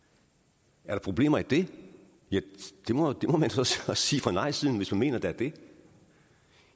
er der problemer i det ja det må man så så sige fra nejsiden hvis man mener der er det